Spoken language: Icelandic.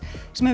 sem